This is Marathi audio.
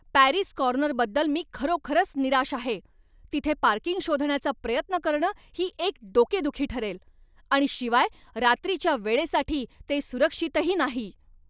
पॅरीज कॉर्नरबद्दल मी खरोखरच निराश आहे. तिथे पार्किंग शोधण्याचा प्रयत्न करणं ही एक डोकेदुखी ठरेल आणि शिवाय रात्रीच्या वेळेसाठी ते सुरक्षितही नाही.